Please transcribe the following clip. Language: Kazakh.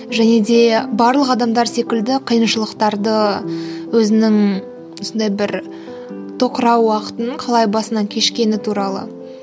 және де барлық адамдар секілді қиыншылықтарды өзінің осындай бір тоқырау уақытын қалай басынан кешкені туралы